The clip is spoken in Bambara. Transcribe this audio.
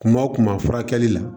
Kuma o kuma furakɛli la